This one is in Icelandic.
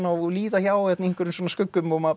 og líða hjá í einhverjum skuggum og maður